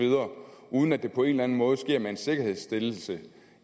uden at det på en eller anden måde sker med en sikkerhedsstillelse